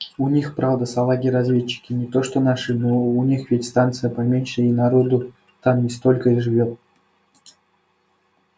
у них правда салаги разведчики не то что наши но у них ведь и станция поменьше и народу там не столько живёт